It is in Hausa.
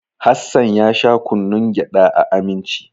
Hassan ya sha kunnun gyada a Aminci.